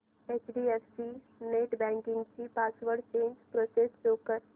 HDFC net banking ची password change process show कर